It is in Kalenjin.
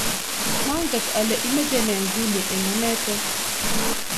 manget ale imeche ne nguni eng anete?